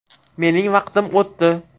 Mening vaqtim o‘tdi.